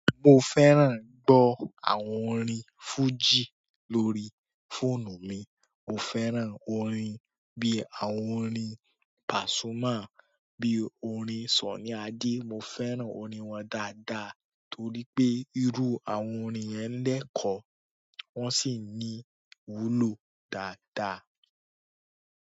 Mo fẹ́ràn gbọ́ àwọn orin fújì lórí fóònù mi. Mo fẹ́ràn orin bí i àwọn orin Pàsúmà, bí i orin Sunny Adé, mo fẹ́ràn orin wọn dáadáa torí pé irú àwọn orin yẹn lẹ́kọ̀ọ́, wọ́n sì ní iwúlò dáadáa.